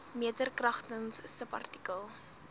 meter kragtens subartikel